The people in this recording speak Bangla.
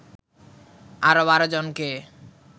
আরও ১২ জনকে